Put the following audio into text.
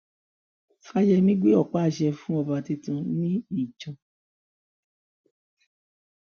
fàyẹmí gbé ọpá àṣẹ fún ọba tuntun ní ìjàn